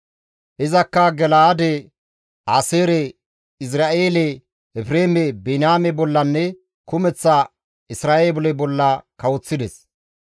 Izakka Gala7aade, Aaseere, Izra7eele, Efreeme, Biniyaame bollanne kumeththa Isra7eele bolla kawoththides.